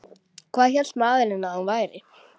Hvað hélt maðurinn að hún væri?